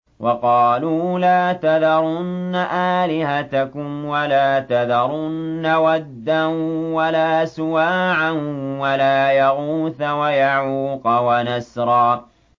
وَقَالُوا لَا تَذَرُنَّ آلِهَتَكُمْ وَلَا تَذَرُنَّ وَدًّا وَلَا سُوَاعًا وَلَا يَغُوثَ وَيَعُوقَ وَنَسْرًا